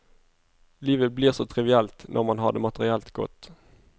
Livet blir så trivielt når man har det materielt godt.